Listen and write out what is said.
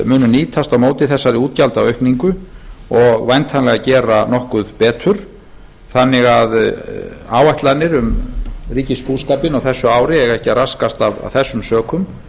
munu nýtast á móti þessari útgjaldaaukningu og væntanlega gera nokkuð betur þannig að áætlanir um ríkisbúskapinn á þessu ari eiga ekki að raskast af þessum sökum